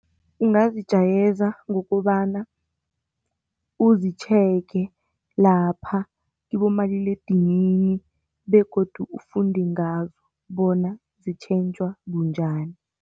Ungazijayeza ngokobana uzitjhege lapha kibomaliledinini begodu ufunde ngazo bona zitjhentjhwa bunjani.